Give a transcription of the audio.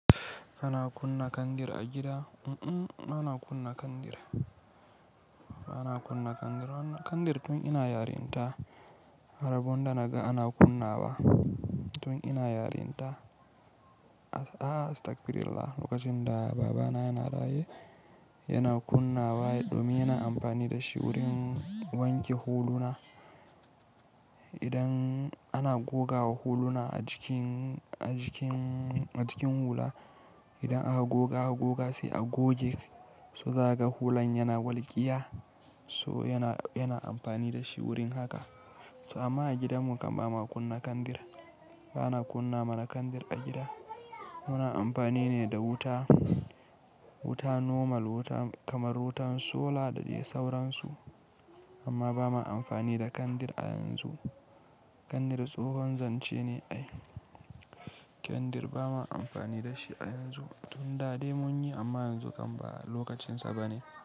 Ana kunna kandir a gida? Mm-mm, ba na kunna kandir. Ba na kunna kandir ba. Kandir tun ina yarinta, rabonda naga ana kunnawa tun ina yarinta. Ah, astagfirullah. Lokacin da babana yana raye, yana kunnawa. Yaɗo muna amfani da shi wurin wanke huluna. Idan ana gogawa huluna a jikin, a jikin, a jikin hula, idan aka goga goga sai a goge, so za ka ga hulan yana walƙiya. So yana, yana amfani da shi wurin haka. So amma a gidanmu kam ba ma kunna kandir. Ba na kunna mana kandir a gida. Muna amfani ne da wuta, wuta normal, wuta kamar wutan sola da dai sauransu. Amma ba ma amfani da kandir a yanzu. Kandir tsohon zance ne. Ai, kandir ba ma amfani da shi a yanzu. Tun da dai mun yi amma yanzu kam ba lokacinsa ba ne.